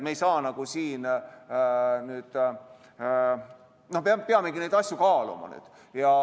Me peamegi neid asju kaaluma.